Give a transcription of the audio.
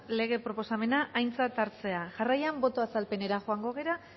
lege proposamena aintzat hartzea jarraian boto azalpenera joango gara